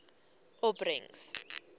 opbrengs